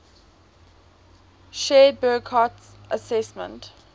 shared burckhardt's assessment